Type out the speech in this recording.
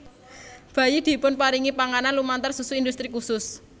Bayi dipun paringi panganan lumantar susu industri kusus